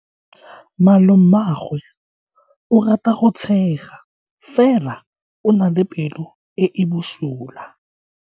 Malomagwe o rata go tshega fela o na le pelo e e bosula.